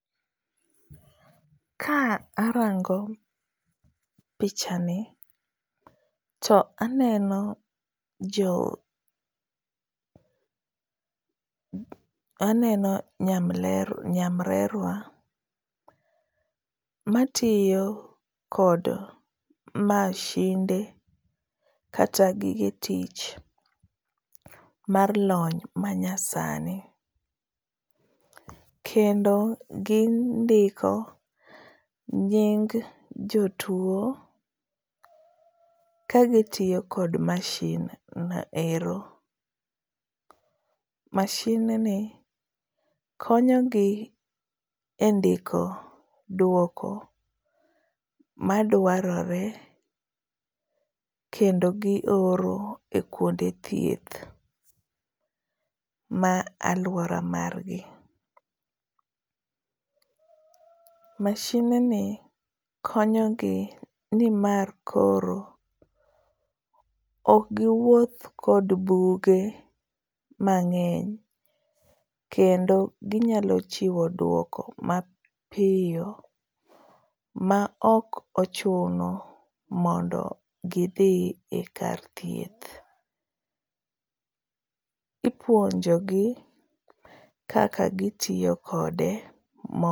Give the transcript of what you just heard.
Ka arango pichani to aneno jo nyamrerwa, matiyo kod mashinde kata gige tich mar lony manyasani. Kendo gindiko nying jotuwo kagitiyo kod mashinno ero ,mashinni konyogi e ndiko dwoko madwarore kendo gioro e kwonde thieth ma alwora margi. Mashinni konyogi nimar koro ok giwuoth kod buge mang'eny kendo ginyalo chiwo dwoko mapiyo ma ok ochuno mondo gidhi e kar thieth. Ipuonjogi kaka gitiyo kode.